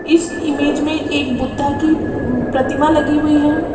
इस इमेज में एक बुद्धा की अम प्रतिमा लगी हुई है।